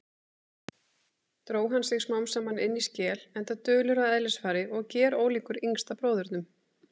Dró hann sig smámsaman inní skel, enda dulur að eðlisfari og gerólíkur yngsta bróðurnum.